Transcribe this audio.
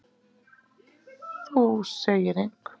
Þú segir engum.